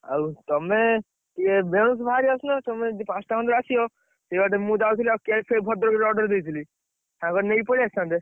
ଆଉ ତମେ, ଇଏ ବେଳୁସୁ ବାହାରି ଆସୁନ। ତମେ ଯଦି ପାଞ୍ଚଟା ସେଇବାଟେ ଆସିବ, ସେଇବାଟେ ମୁଁ ଯାଉଥିଲି cake ଫେକ ଭଦ୍ରକରେ order ଦେଇଥିଲି। ସାଙ୍ଗରେ ନେଇକି ପଳେଇଆସିଥାନ୍ତେ।